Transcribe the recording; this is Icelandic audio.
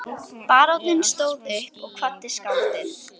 Baróninn stóð upp og kvaddi skáldið.